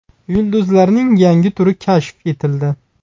Yulduzlarning yangi turi kashf etildi.